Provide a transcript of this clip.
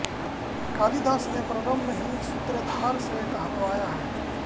कालिदास ने प्रारम्भ में ही सूत्रधार से कहलवाया है